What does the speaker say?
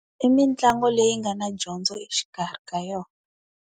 I mitlangu leyi nga na dyondzo exikarhi ka yona.